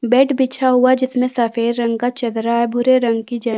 bed बिछा हुआ है जिसमे सफ़ेद रंग का चदरा है भूरे रंग की ज अ--